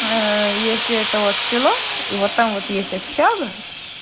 если это вот село и вот там вот есть общага